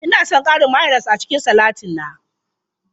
Ina son ƙarin mayones a cikin salatin na.